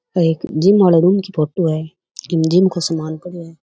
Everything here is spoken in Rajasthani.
आ एक जिम आले रूम की फोटो है ईम जिम को सामान पड़यो है।